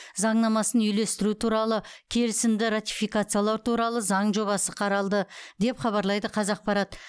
заңнамасын үйлестіру туралы келісімді ратификациялау туралы заң жобасы қаралды деп хабарлайды қазақпарат